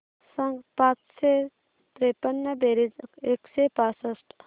सांग पाचशे त्रेपन्न बेरीज एकशे पासष्ट